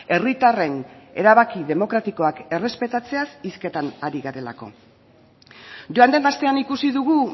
herritarren erabaki demokratikoak errespetatzeaz hizketan ari garelako joan den astean ikusi dugu